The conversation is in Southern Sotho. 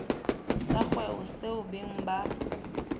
sa kgwebo seo beng ba